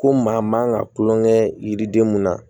Ko maa man kan ka tulonkɛ yiriden mun na